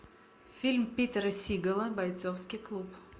фильм питера сигала бойцовский клуб